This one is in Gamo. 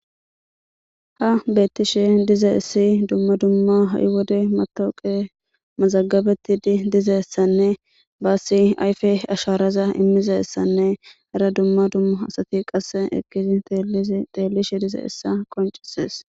ha beettishe dize issi dumma dumma ha7i wode matooqe mazagabeti di dizeessanne baassi ayfe asharaza immizessanne hara dumma dumma asati qasse eqqisi teelishe dize issa qoncises